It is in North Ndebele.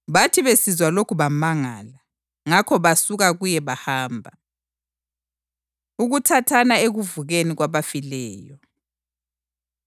Bathi besizwa lokhu bamangala. Ngakho basuka kuye bahamba. Ukuthathana Ekuvukeni Kwabafileyo